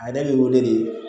A yɛrɛ bɛ wele de